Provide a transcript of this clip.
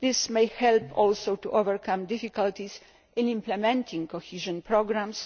This may help also to overcome difficulties in implementing cohesion programmes.